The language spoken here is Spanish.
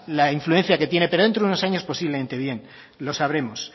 la influencia que tiene pero dentro de unos años posiblemente bien lo sabremos